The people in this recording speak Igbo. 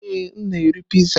Ee, m na-eri Piizaa.